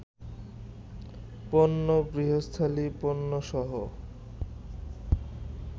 পণ্য, গৃহস্থলি পণ্যসহ